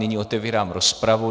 Nyní otevírám rozpravu.